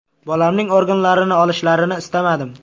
Bolamning organlarini olishlarini istamadim.